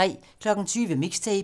20:00: Mixtape